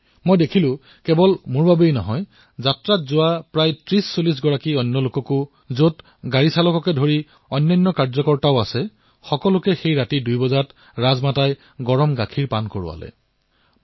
কিন্তু দ্বিতীয় দিনা দেখিলো তেওঁ কেৱল মোকেই নহয় আমাৰ যাত্ৰাৰ ৩০৪০ জন লোকক তাতে গাড়ীৰ চালকো আছিল প্ৰত্যেকৰে কোঠালিলৈ গৈ নিজে ২ বজাৰ গাখীৰ খাবলৈ দিছিল